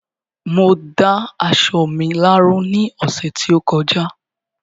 Mo dá aṣọ mi láró ní ọ̀sẹ̀ tí ó kọjá